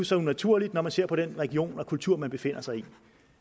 så unaturligt når man ser på den religion og kultur de befinder sig i